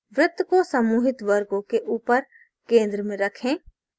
वृत्त को समूहित वर्गों के ऊपर केंद्र में रखें